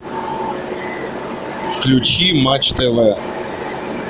включи матч тв